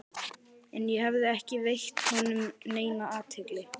En ég hafði ekki veitt honum neina athygli.